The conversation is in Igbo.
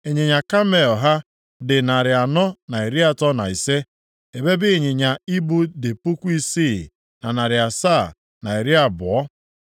Ịnyịnya kamel ha dị narị anọ na iri atọ na ise (435), ebe ịnyịnya ibu dị puku isii, na narị asaa, na iri abụọ (6,720).